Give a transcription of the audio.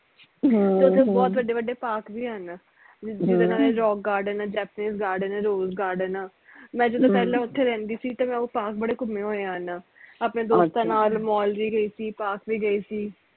ਵਡੇ ਵਡੇ park ਵੀ ਹਨ ਜਿਦਾ ਨਾਲੇ rock garden ਆ japanese garden ਆ rose garden ਆ ਮੈਂ ਜਦੋ ਪਹਿਲਾ ਓਥੇ ਰਹਿੰਦੀ ਸੀ ਤੇ ਮੈਂ ਉਹ park ਬੜੇ ਘੁੰਮੇ ਹੋਏ ਹਨ ਆਪਣੇ ਦੋਸਤਾ ਨਾਲ mall ਵੀ ਗਈ ਸੀ park ਵੀ ਗਈ ਸੀ